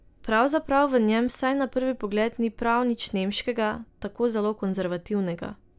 Pravzaprav v njem vsaj na prvi pogled ni prav nič nemškega, tako zelo konzervativnega.